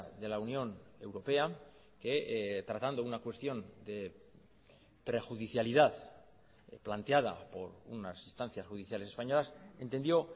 de la unión europea que tratando una cuestión de prejudicialidad planteada por unas instancias judiciales españolas entendió